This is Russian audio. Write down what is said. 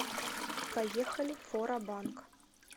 поехали фора банк